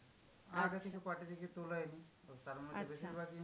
আগে থেকে party থেকে তোলা তারমধ্যে বেশিরভাগ